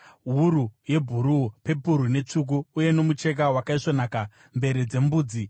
wuru yebhuruu, pepuru netsvuku uye nomucheka wakaisvonaka; mvere dzembudzi;